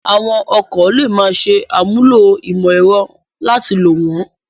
Àwọn ọkọ̀ lè máa ṣe àmúlò ìmọ̀ ẹ̀rọ láti lò wọ́n